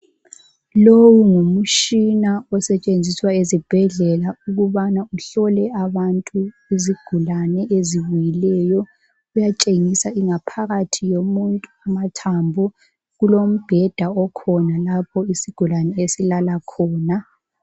Lowu ngumtshina osetshenziswa ezibhedlela ukubana uhlole abantu izigulane ezibuyileyo. Uyatshengisa ingaphakathi yomuntu amathambo, kulombheda okhona lapho isigulane esilala khona.